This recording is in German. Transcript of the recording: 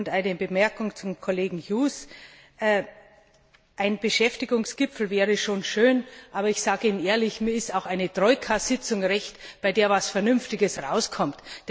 Eine Bemerkung an Kollege Hughes Ein Beschäftigungsgipfel wäre schon schön, aber ich sage Ihnen ehrlich Mir ist auch eine Troika Sitzung recht, bei der etwas Vernünftiges herauskommt.